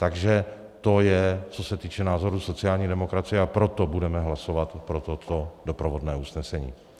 Takže to je, co se týče názoru sociální demokracie, a proto budeme hlasovat pro toto doprovodné usnesení.